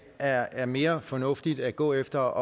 er er mere fornuftigt at gå efter